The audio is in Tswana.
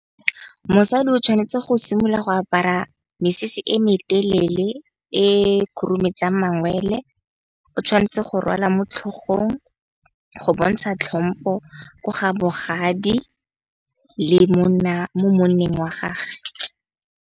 Mosadi o tshwanetse go simolola go apara mesese e me telele, e khurumetsang mangwele, o tshwanetse go rwala mo tlhogong go bontsha tlhompo ko ga bogadi le monna mo monneng wa gage.